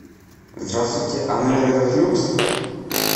здравствуйте а номер этот люкс